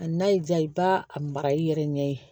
A n'a y'i diya i b'a a mara i yɛrɛ ɲɛ ye